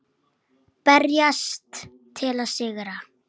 Berjast til að sigra.